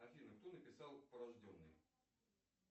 афина кто написал порожденные